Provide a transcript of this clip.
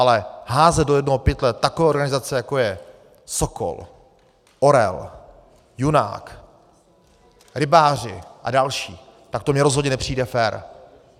Ale házet do jednoho pytle takové organizace, jako je Sokol, Orel, Junák, rybáři a další, tak to mně rozhodně nepřijde fér.